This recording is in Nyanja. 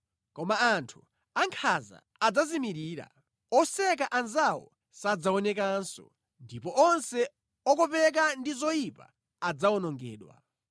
Koma anthu ankhanza adzazimirira, oseka anzawo sadzaonekanso, ndipo onse okopeka ndi zoyipa adzawonongedwa.